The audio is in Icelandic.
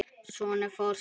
Sonur forseta